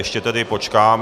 Ještě tedy počkám.